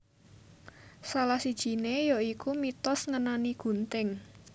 Salah sijiné ya iku mitos ngenani gunting